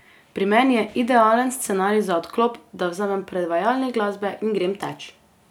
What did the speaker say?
Pri meni je idealen scenarij za odklop, da vzamem predvajalnik glasbe in grem teč.